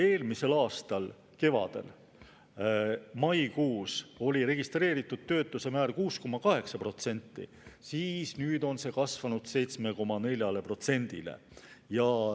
Eelmise aasta kevadel, maikuus oli registreeritud töötuse määr 6,8%, aga nüüd on see kasvanud 7,4%-le.